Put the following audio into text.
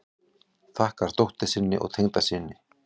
Þakkar dóttur sinni og tengdasyni